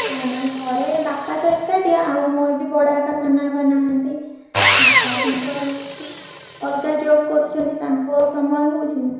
ନା ନା ଘରେ ବାପା ତ ଏକାଟିଆ ଆଉ ମୋର ବି ବଡବାପା ସାନବାପା ନାହନ୍ତି ବାପା ତାଙ୍କର ହଉଛି ଅଲଗା job କରୁଛନ୍ତି ତାଙ୍କୁ ଆଉ ସମୟ ହଉଛି ନା।